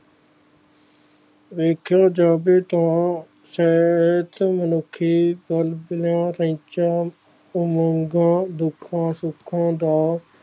ਵੇਖਿਯੋ ਜੱਦ ਤੋਂ ਸਹਿਜ ਮਨੁੱਖੀ ਘਰ ਦੀਆਂ ਧੰਨਚਾ ਉਮੰਗਾਂ ਦੁਖਾਂ ਸੁਖਾਂ ਦਾ